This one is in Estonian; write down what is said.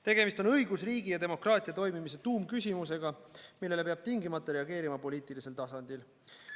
Tegemist on õigusriigi ja demokraatia toimimise tuumküsimusega, millele peab tingimata reageerima poliitilisel tasandil.